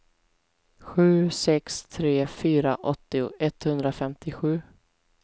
sju sex tre fyra åttio etthundrafemtiosju